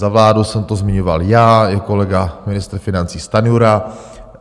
Za vládu jsem to zmiňoval já i kolega ministr financí Stanjura.